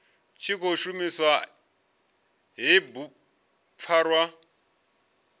tshi khou shumisa hei bugupfarwa